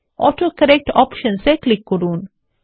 autocorrect options এ click করুন